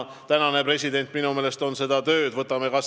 Praegune president on minu meelest seda tööd hästi teinud.